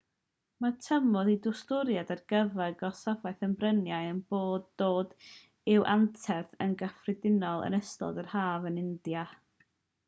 mae'r tymor i dwristiaid ar gyfer gorsafoedd y bryniau yn dod i'w anterth yn gyffredinol yn ystod yr haf yn india